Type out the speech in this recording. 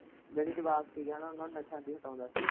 ਜਿਹੜੇ ਜਵਾਕ ਸੀ ਨਾ ਉਨਾਂ ਨੂੰ ਨਸ਼ਿਆ ਤੋਂ ਹਟਾਉਂਦਾ ਸੀ।